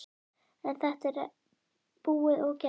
En þetta er búið og gert.